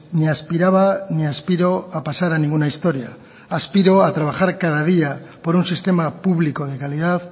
ni aspiraba ni aspiro a pasar a ninguna historia aspiro a trabajar cada día por un sistema público de calidad